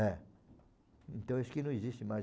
É. Então, acho que não existe mais.